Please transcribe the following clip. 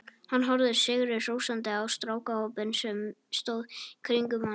Hann horfði sigri hrósandi á strákahópinn sem stóð í kringum hann.